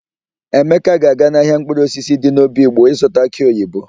Emeka ga-aga n'ahịa mkpụrụosisi dị n'obigbo ịzụta akị oyibo.